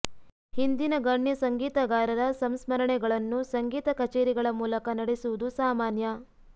ಹಿಂದಿನ ಗಣ್ಯ ಸಂಗೀತಗಾರರ ಸಂಸ್ಮರಣೆಗಳನ್ನು ಸಂಗೀತ ಕಛೇರಿಗಳ ಮೂಲಕ ನಡೆಸುವುದು ಸಾಮಾನ್ಯ